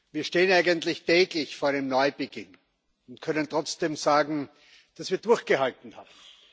Wir stehen eigentlich täglich vor einem Neubeginn und können trotzdem sagen, dass wir durchgehalten haben.